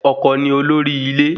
Ọkọ ni olórí ilé